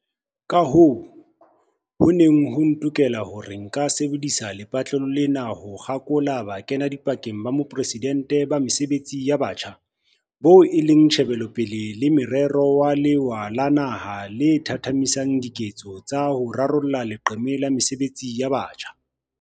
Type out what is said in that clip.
Kahoo, ho ne ho ntokela hore nka sebedisa lepatlelo lena ho kgakola Bokenadipakeng ba Moporesidente ba Mesebetsi ya Batjha, boo e leng tjhebelopele le morero wa lewa la naha le thathamisang diketso tsa ho rarolla leqeme la mesebetsi ya batjha.